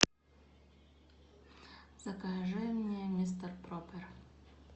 закажи мне мистер пропер